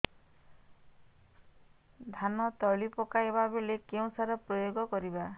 ଧାନ ତଳି ପକାଇବା ବେଳେ କେଉଁ ସାର ପ୍ରୟୋଗ କରିବା